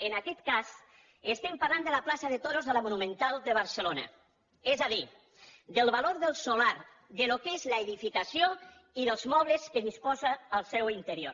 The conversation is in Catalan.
en aquest cas estem parlant de la plaça de toros de la monumental de barcelona és a dir del valor del solar del que és l’edificació i dels mobles de què disposa al seu interior